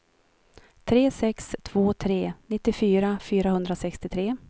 tre sex två tre nittiofyra fyrahundrasextiotre